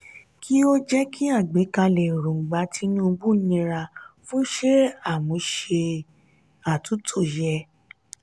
kí o jẹ kí àgbékalẹ̀ èròngbà tinubu nira fún ṣe àmúse atunto yẹ.